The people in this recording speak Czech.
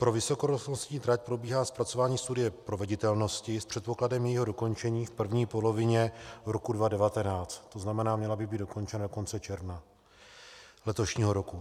Pro vysokorychlostní trať probíhá zpracování studie proveditelnosti s předpokladem jejího dokončení v první polovině roku 2019, to znamená, měla by být dokončena do konce června letošního roku.